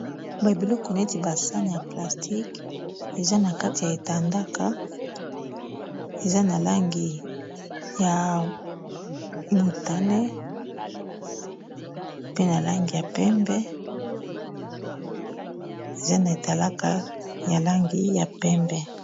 Ba biloko neti ba sani ya plastique eza na kati ya etandaka eza na langi ya motane pe na langi ya pembe eza na etalaka ya langi ya pembe